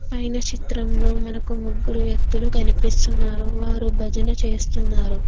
పైన చిత్రంలో మనకు ముగ్గురు వ్యక్తులు కనిపిస్తున్నారు వారు భజన చేస్తున్నారు.